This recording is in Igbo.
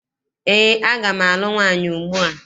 Eé, aga m alụ nwaanyị ugbua.